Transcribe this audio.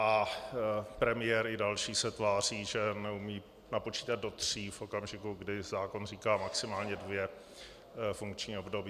A premiér i další se tváří, že neumí napočítat do tří v okamžiku, kdy zákon říká maximálně dvě funkční období.